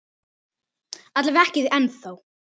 Alla vega ekki ennþá.